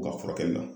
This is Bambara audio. U ka furakɛli la